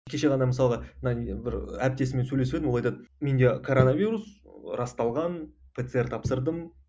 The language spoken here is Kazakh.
кеше ғана мысалға мына не бір әріптесіммен сөйлесіп едім ол айтады менде короновирус расталған пцр тапсырдым